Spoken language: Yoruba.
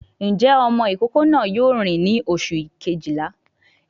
Ǹjẹ́ ọmọ ìkókó náà yóò rìn ní oṣù Kejìlá?